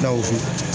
Aw fo